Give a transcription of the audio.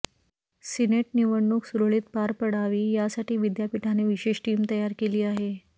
Senate निवडणूक सुरळीत पार पडावी यासाठी विद्यापीठाने विशेष टीम तयार केली आहे